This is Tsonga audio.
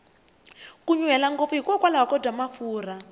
ku nyuhela ngopfu hi kokwalaho ko dya mafurha